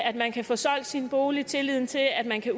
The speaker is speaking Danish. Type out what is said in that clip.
at man kan få solgt sin bolig tilliden til at man kan